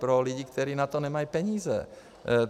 Pro lidi, kteří na to nemají peníze.